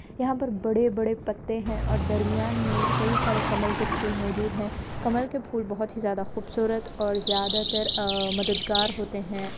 यहाँ पर बड़े बड़े पत्ते है और दर्मिया में बहुत सारे कमल के फूल मौजूद है और कमल के फूल बहुत ज्यादा खूबसूरत और मददगार होते है।